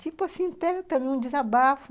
Tipo assim, um desabafo.